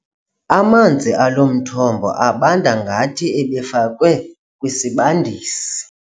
Amanzi alo mthombo abanda ngathi ebefakwe kwisibandisi.